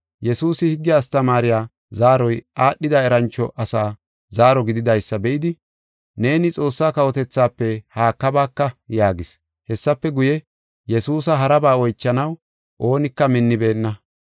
Yesuusi higge astamaariya zaaroy aadhida erancho asa zaaro gididaysa be7idi, “Neeni Xoossaa kawotethaafe haakabaaka” yaagis; hessafe guye, Yesuusa haraba oychanaw oonika minnibeenna.